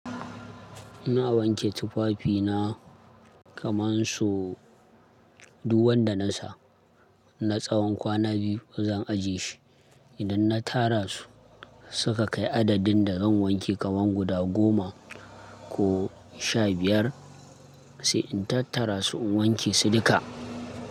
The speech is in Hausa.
Ina wanke tufafina kaman su, duk wanda nasa. Na tsawan kwana biyu ba zan ajiye shi. Idan na tara su, suka kai adadin da zan wanke kaman guda goma ko sha biyar, sai in tattara su in wanke su duka.